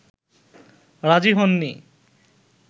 রাজী হননি